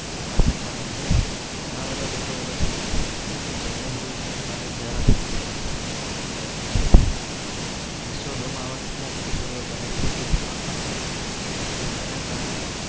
માં આવે છે. ઘણા બધા લોકો એવા છે કે જે ધોળા થઈ ગયા છે. જેથી. યો બને છે કે જેમાં.